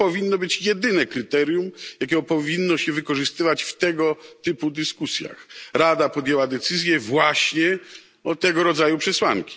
To powinno być jedyne kryterium, jakie powinno się wykorzystywać w tego typu dyskusjach. Rada podjęła decyzję właśnie na podstawie tego rodzaju przesłanek.